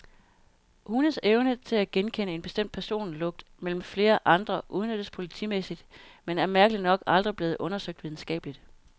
Hundes evne til at genkende en bestemt personlugt mellem flere andre udnyttes politimæssigt, men er mærkelig nok aldrig blevet undersøgt videnskabeligt.